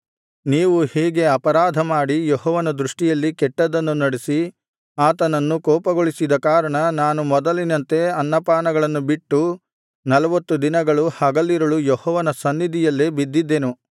ನೀವು ಹೀಗೆ ಅಪರಾಧಮಾಡಿ ಯೆಹೋವನ ದೃಷ್ಟಿಯಲ್ಲಿ ಕೆಟ್ಟದ್ದನ್ನು ನಡಿಸಿ ಆತನನ್ನು ಕೋಪಗೊಳಿಸಿದ ಕಾರಣ ನಾನು ಮೊದಲಿನಂತೆ ಅನ್ನ ಪಾನಗಳನ್ನು ಬಿಟ್ಟು ನಲ್ವತ್ತು ದಿನಗಳು ಹಗಲಿರುಳು ಯೆಹೋವನ ಸನ್ನಿಧಿಯಲ್ಲೇ ಬಿದ್ದಿದ್ದೆನು